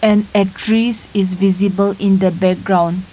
and a trees is visible in the background.